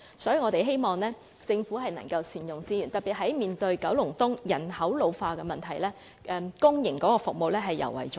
所以，我們希望政府能夠善用資源，特別是九龍東面對人口老化的問題，公營服務尤為重要。